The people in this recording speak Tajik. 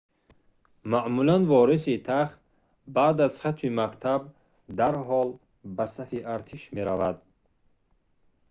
маъмулан вориси тахт баъди хатми мактаб дарҳол ба сафи артиш меравад